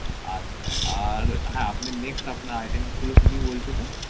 আচ্ছা আর হা আপনার next item গুলো কি কি বলছিলেন